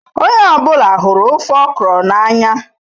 Onye ọ bụla hụrụ ofe okra n'anya.